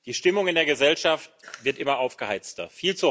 Die Stimmung in der Gesellschaft wird immer aufgeheizter.